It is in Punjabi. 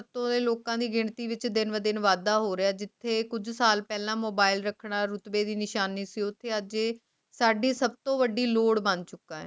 ਲੋਕਾਂ ਦੀ ਗਿਣਤੀ ਵਿੱਚ ਦਿਨ ਦੇ ਵਿਚ ਇਜ਼ਾਫਾ ਹੋ ਰਾਹ ਹੈ ਜਿੱਥੇ ਕੁਝ ਸਾਲ ਪਹਿਲਾਂ mobile ਰੱਖੜਾ ਰੁਤਬੇ ਦੀ ਨਿਸ਼ਾਨੀ ਪਰੂਫ ਅਤੇ ਸਾਡੀ ਸਭ ਤੋਂ ਵੱਡੀ ਲੋੜ ਬੰਦ